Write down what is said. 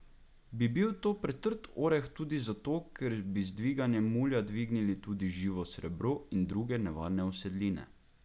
Bi bil to pretrd oreh tudi zato, ker bi z dviganjem mulja dvignili tudi živo srebro in druge nevarne usedline?